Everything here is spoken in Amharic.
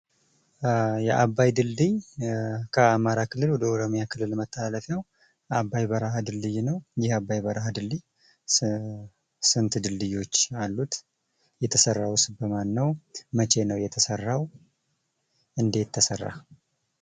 የአባይ ግድብ ከአማራ ክልል ወደ ኦሮሚያ ክልል መተላለፊያው ነው። አባይ በረሃ ድልድይ ነው። ይህ የአባይ በረሀ ድልድይ ስንት ድልድዮች አሉት? የተሰራውስ በማን ነው? መቼ ነው የተሰራው? እንደት ተሰራ?